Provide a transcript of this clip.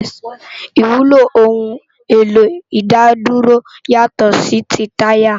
Iwúló óoun éló idádúró yátò si ti tàyá